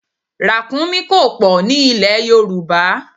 Ràkúnmí kò pọ̀ ní ilè Yorùbá.